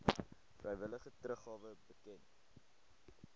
vrywillige teruggawe bekend